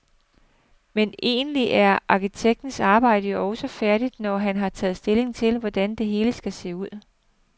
Men egentlig er arkitektens arbejde jo også færdigt, når han har taget stilling til, hvordan det hele skal se ud.